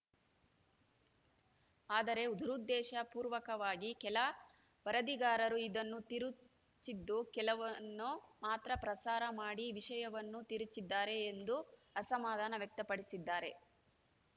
ಆದರೆ ದುರುದ್ದೇಶ ಪೂರ್ವಕವಾಗಿ ಕೆಲ ವರದಿಗಾರರು ಇದನ್ನು ತಿರುಚಿದ್ದು ಕೆಲವನ್ನು ಮಾತ್ರ ಪ್ರಸಾರ ಮಾಡಿ ವಿಷಯವನ್ನು ತಿರುಚಿದ್ದಾರೆ ಎಂದು ಅಸಮಾಧಾನ ವ್ಯಕ್ತಪಡಿಸಿದ್ದಾರೆ